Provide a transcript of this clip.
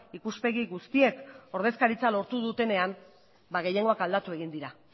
ikuspegi guztiek ordezkaritza lortu dutenean ba gehiengoak aldatu egin dira